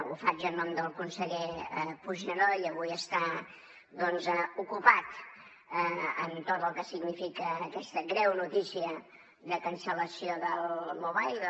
ho faig en nom del conseller puigneró ell avui està doncs ocupat amb tot el que significa aquesta greu notícia de cancel·lació del mobile